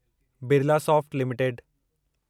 Birlasoft limited